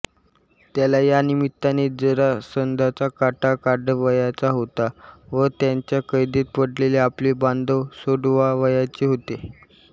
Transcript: त्याला या निमित्ताने जरासंधाचा काटा काढावयाचा होता व त्याच्या कैदेत पडलेले आपले बांधव सोडवावयाचे होते